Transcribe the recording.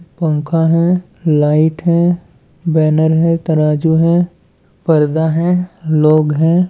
पंखा हैं। लाइट है। बैनर हाइटरजू है। पैदा है। लोग हैं ।